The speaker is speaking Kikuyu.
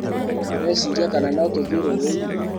ũreciria kana notũthii rũĩnĩ?